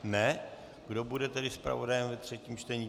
Kdo bude tedy zpravodajem ve třetím čtení?